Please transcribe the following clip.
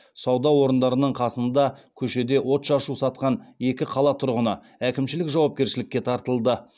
сауда орындарының қасында көшеде отшашу сатқан екі қала тұрғыны әкімшілік жауапкершілікке тартылды